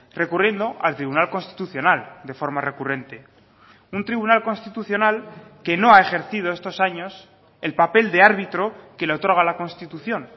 recurriendo al tribunal constitucional de forma recurrente un tribunal constitucional que no ha ejercido estos años el papel de árbitro que le otorga la constitución